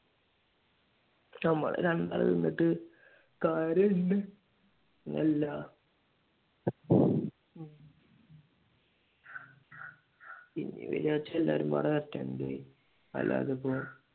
നമ്മൾ രണ്ടാൾ നിന്നിട്ട് കാര്യം ഇല്ല എല്ല പിന്നെ വരുവാന്ന് വെച്ചാൽ എല്ലാവരും കൂടെ വരട്ടെ എന്തെ അല്ലാതിപ്പോ